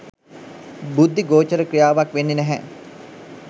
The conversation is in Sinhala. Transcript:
බුද්ධි ගෝචර ක්‍රියාවක් වෙන්නේ නැහැ.